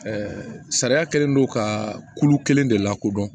sariya kɛlen do ka kulu kelen de lakodɔn